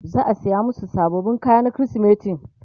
za'a saya masu sababbin kaya na krismeti